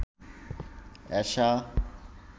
এশা